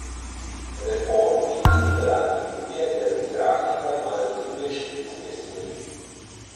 Reformni in liberalni Judje ter mizrahi pa imajo druge študijske smeri.